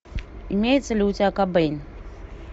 имеется ли у тебя кобейн